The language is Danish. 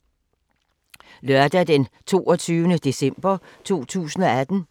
Lørdag d. 22. december 2018